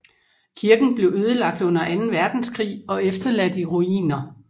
Kirken blev ødelagt under Anden Verdenskrig og efterladt i ruiner